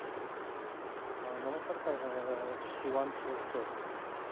अं नमस्कार अं शिवांश sir